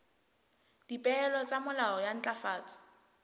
dipehelo tsa molao wa ntlafatso